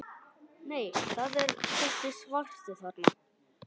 Nei, það er þessi svarti þarna!